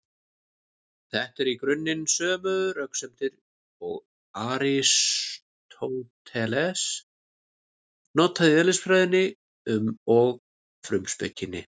Þetta eru í grunninn sömu röksemdir og Aristóteles notaði í Eðlisfræðinni og Frumspekinni.